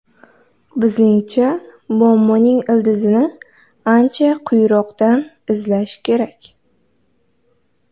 Bizningcha, muammoning ildizini ancha quyiroqdan izlash kerak.